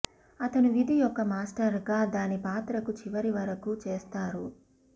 అతను విధి యొక్క మాస్టర్ గా దాని పాత్రకు చివరి వరకు చేస్తారు